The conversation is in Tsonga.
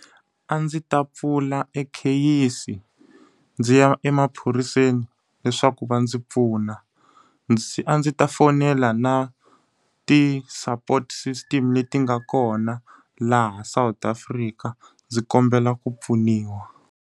A ndzi ta pfula e kheyisi, ndzi ya emaphoriseni leswaku va ndzi pfuna. a ndzi ta fonela na ti-support system leti nga kona laha South Africa ndzi kombela ku pfuniwa.